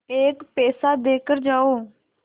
एक पैसा देकर जाओ